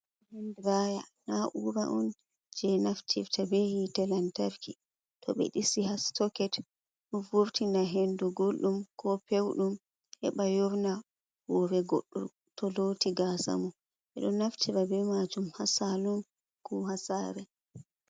Han draya, na'ura on je naftifta be hite lantarki to ɓe ɗisi soket ɗo vurtina hendu gulɗum ko pewɗum heɓa yorna hore goɗɗo to loti gasa mun. Ɓedo naftira be majum ha salun ko ha sare.